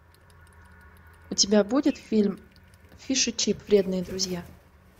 у тебя будет фильм фиш и чип вредные друзья